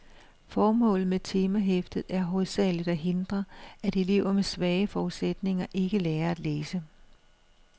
Formålet med temahæftet er hovedsageligt at hindre, at elever med svage forudsætninger ikke lærer at læse.